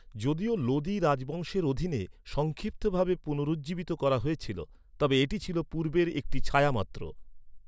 যদিও লোদি রাজবংশের অধীনে সংক্ষিপ্তভাবে পুনরুজ্জীবিত করা হয়েছিল তবে এটি ছিল পূর্বের একটি ছায়া মাত্র।